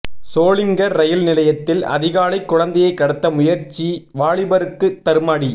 Sholinghur rail நிலையத்தில் அதிகாலை குழந்தையை கடத்த முயற்சி வாலிபருக்கு தர்மஅடி